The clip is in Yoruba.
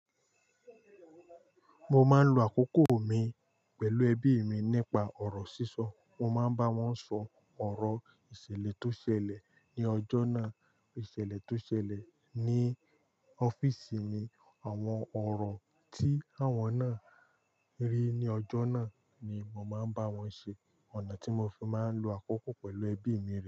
Mo máa ń lo àkókò mi pẹ̀lú ẹbí mi nípa ọ̀rọ̀ sísọ. Mo máa ń bá wọn sọ ọ̀rọ̀ ìṣẹ̀lẹ̀ tó ṣẹlẹ̀ ní ọjọ́ náà, ìṣẹ̀lẹ̀ tó ṣẹlẹ̀ ní ọ́fíìsì mi, àwọn ọ̀rọ̀ tí àwọn náà rí ní ọjọ́ náà ni màá ń bá wọn ṣe. Ọ̀nà tí mo fi máa ń lo àkókò pẹ̀lú ẹbí mi rí.